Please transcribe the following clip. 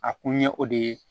A kun ye o de ye